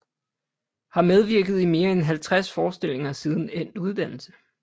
Har medvirket i mere end 50 forestillinger siden endt uddannelse